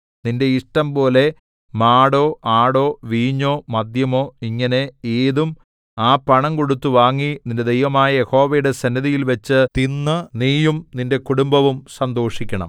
നിന്റെ ഇഷ്ടംപോലെ മാടോ ആടോ വീഞ്ഞോ മദ്യമോ ഇങ്ങനെ ഏതും ആ പണം കൊടുത്ത് വാങ്ങി നിന്റെ ദൈവമായ യഹോവയുടെ സന്നിധിയിൽവെച്ച് തിന്ന് നീയും നിന്റെ കുടുംബവും സന്തോഷിക്കണം